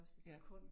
Ja